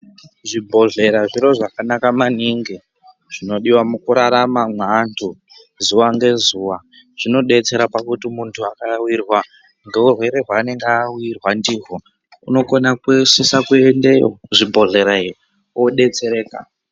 Zvibhedhleya zvino zvakanaka maningi zvinodiwa mukuraramwa maantu zuva nezuva zvinobetsera pakuti muntu wakarwerwa anenge awirwa ndiko unokona kusisa kuende zvibhedhleya wobetsereka